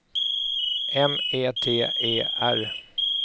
M E T E R